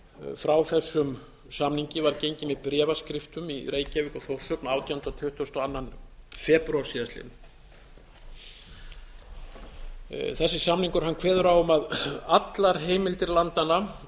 frá þessum samningi var gengið með bréfaskiptum í reykjavík og þórshöfn átjándu og tuttugasta og annan febrúar síðastliðinn þessisamningur kveður á um að allar heimildir landanna